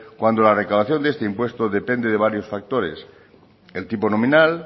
cuando la recaudación de este impuesto depende de varios factores el tipo nominal